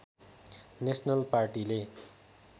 national पार्टीले